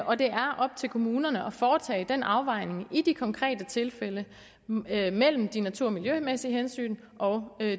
og det er op til kommunerne at foretage den afvejning i de konkrete tilfælde mellem de natur og miljømæssige hensyn og